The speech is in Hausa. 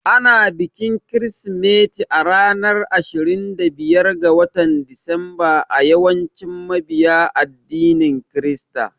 Ana bikin Kirsimeti a ranar Ashirin da biyar ga Disamba a yawancin mabiya addinin Kirista.